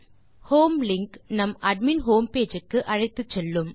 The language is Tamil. ஹோம் லிங்க் நம்மை அட்மின் ஹோம் பேஜ் க்கு அழைத்துச்செல்லும்